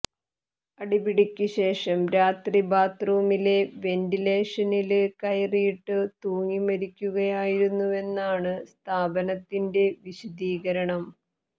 അടിപിടിക്കു ശേഷം രാത്രി ബാത്ത്റൂമിലെ വെന്റിലേഷനില് കയറിട്ടു തൂങ്ങിമരിക്കുകയായിരുന്നുവെന്നാണു സ്ഥാപനത്തിന്റെ വിശദീകരണം